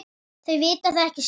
Þau vita það ekki sjálf.